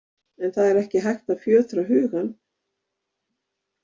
En það er ekki hægt að fjötra hugann.